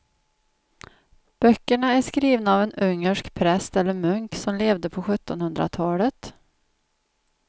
Böckerna är skrivna av en ungersk präst eller munk som levde på sjuttonhundratalet.